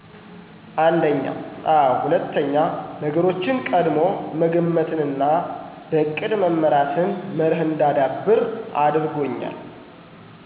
አንድኛ፦ አዎ ሁለትኛ፦ ነገሮችን ቀድሞ መገመትንና በእቅድ መመራትን መርህ እንዳዳብር አድርጎኛል።